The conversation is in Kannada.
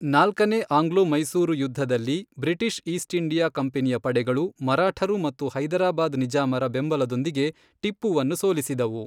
ನಾಲ್ಕನೇ ಆಂಗ್ಲೋ ಮೈಸೂರು ಯುದ್ಧದಲ್ಲಿ, ಬ್ರಿಟಿಷ್ ಈಸ್ಟ್ ಇಂಡಿಯಾ ಕಂಪನಿಯ ಪಡೆಗಳು, ಮರಾಠರು ಮತ್ತು ಹೈದರಾಬಾದ್ ನಿಜಾಮರ ಬೆಂಬಲದೊಂದಿಗೆ ಟಿಪ್ಪುವನ್ನು ಸೋಲಿಸಿದವು.